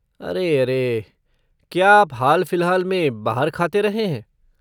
अरे अरे, क्या आप हाल फिलहाल में बाहर खाते रहे हैं?